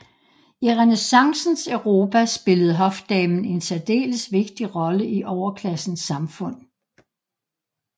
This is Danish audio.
I renæssancens Europa spillede hofdamen en særdeles vigtig rolle i overklassens samfund